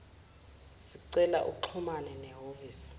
sicela uxhumane nehhovisi